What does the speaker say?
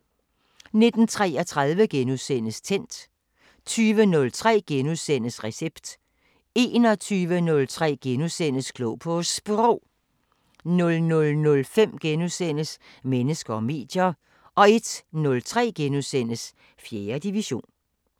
19:33: Tændt * 20:03: Recept * 21:03: Klog på Sprog * 00:05: Mennesker og medier * 01:03: 4. division *